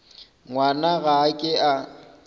ngwana ga a ke a